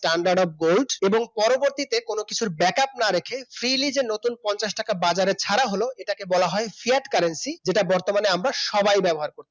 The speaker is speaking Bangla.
Standard of Gold এবং পরবর্তীতে কোন কিছুর backup না রেখে freely যে নতুন পঞ্চাশ টাকা বাজারে ছাড়া হল সেটাকে বলা হয় Feared Currency যেটা বর্তমানে আমরা সবাই ব্যবহার করে থাকি